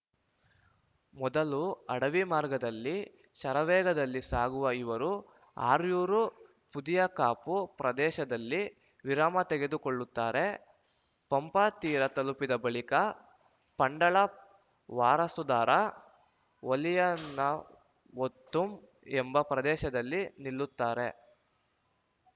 ಮೊದಲು ಅಡವಿ ಮಾರ್ಗದಲ್ಲಿ ಶರವೇಗದಲ್ಲಿ ಸಾಗುವ ಇವರು ಅರ್ಯುರೂಪುದಿಯಕಾಪು ಪ್ರದೇಶದಲ್ಲಿ ವಿರಾಮ ತೆಗೆದುಕೊಳ್ಳುತ್ತಾರೆ ಪಂಪಾ ತೀರ ತಲುಪಿದ ಬಳಿಕ ಪಂಡಳ ವಾರಸುದಾರ ವಲಿಯನವೊತ್ತಂ ಎಂಬ ಪ್ರದೇಶದಲ್ಲಿ ನಿಲ್ಲುತ್ತಾರೆ